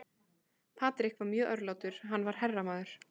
Patrick var mjög örlátur, hann var herramaður.